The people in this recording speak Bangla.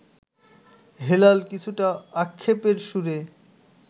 হেলাল কিছুটা আক্ষেপের সুরে